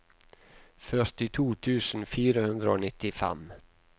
førtito tusen fire hundre og nittifem